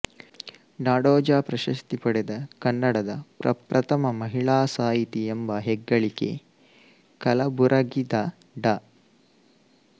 ನಾಡೋಜ ಪ್ರಶಸ್ತಿ ಪಡೆದ ಕನ್ನಡದ ಪ್ರಪ್ರಥಮ ಮಹಿಳಾ ಸಾಹಿತಿ ಎಂಬ ಹೆಗ್ಗಳಿಕೆ ಕಲಬುರಗಿದ ಡಾ